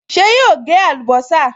Ṣé yóò gé àlùbọ́sà?